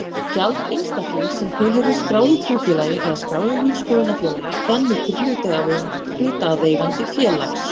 Gjald einstaklings sem tilheyrir skráðu trúfélagi eða skráðu lífsskoðunarfélagi rennur til hlutaðeigandi félags.